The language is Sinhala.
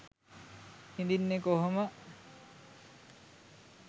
හිඳින්නේ කොහොම